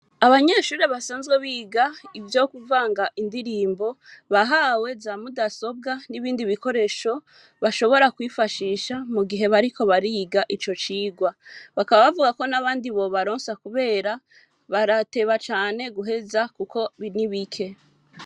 abanyeshuri basanzwe biga ivyo kuvanga indirimbo bahawe za mudasobwa n'ibindi bikoresho vyo kwifashisha mu gihe bariko bariga ico cirwa bakaba bavuga ko n'abandi bobaronsa kubera barateba cane guheza kuko ari bike.